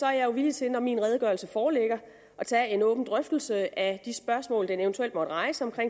jeg villig til når min redegørelse foreligger at tage en åben drøftelse af de spørgsmål den eventuelt måtte rejse om